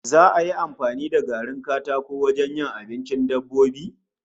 Za'a yi amfani da garin katako wajen yin abincin dabbobi?